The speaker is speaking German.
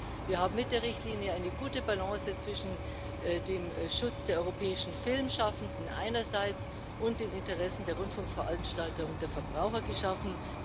Ich glaube, wir haben mit der Richtlinie eine gute Balance zwischen dem Schutz der europäischen Filmschaffenden einerseits und den Interessen der Rundfunkveranstalter und der Verbraucher geschaffen.